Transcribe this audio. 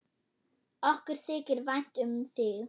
Okkur þykir vænt um þig.